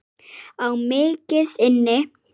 Á mikið inni.